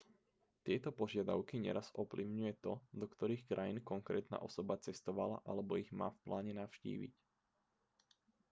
tieto požiadavky neraz ovplyvňuje to do ktorých krajín konkrétna osoba cestovala alebo ich má v pláne navštíviť